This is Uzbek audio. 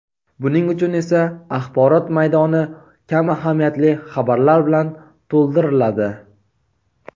Buning uchun esa axborot maydoni kam ahamiyatli xabarlar bilan to‘ldiriladi.